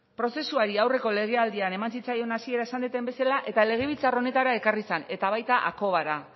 prozesuari aurreko legealdian eman zitzaion hasieran esan duten bezala eta legebiltzar honetara ekarri zen eta baita akoba